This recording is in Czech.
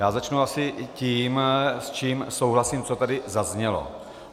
Já začnu asi tím, s čím souhlasím, co tady zaznělo.